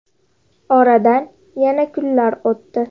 Oradan yana kunlar o‘tdi.